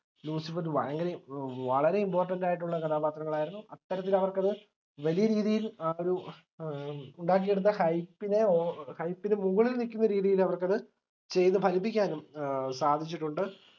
ലൂസിഫറിൽ ഭയങ്കര വളരെ important ആയിട്ടുള്ള കഥാപാത്രങ്ങളായിരുന്നു അത്തരത്തിൽ അവർക്ക് അത് വലിയരീതിയിൽ ആ ഒരു ഏർ ഉണ്ടാക്കിയെടുത്ത hype നെ ഓ hype ന് മുകളിൽ നിക്കുന്നരീതിയിൽ അവർക്കത് ചെയ്തുഫലിപ്പിക്കാനും സാധിച്ചിട്ടുണ്ട്